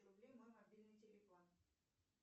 рублей мой мобильный телефон